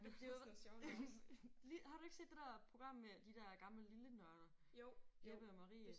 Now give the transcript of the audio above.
Men det jo lille har du ikke set det der program med de der gammel lille nørder Jeppe og Marie?